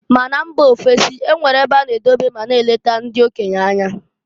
Ma na mba ofesi e nwere ebe a na edobe ma na-eleka ndị okenye anya.